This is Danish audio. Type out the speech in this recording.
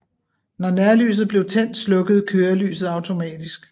Når nærlyset blev tændt slukkede kørelyset automatisk